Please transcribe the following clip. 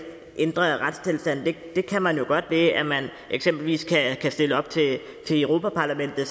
ændre retstilstanden det kan man jo godt ved at man eksempelvis kan stille op til europa parlamentet